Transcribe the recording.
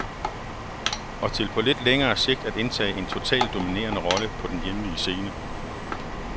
Og til på lidt længere sigt at indtage en totalt dominerende rolle på den hjemlige scene.